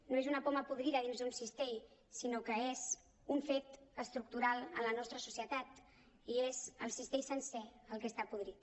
no és una poma podrida dins d’un cistell sinó que és un fet estructural en la nostra societat i és el cistell sencer el que està podrit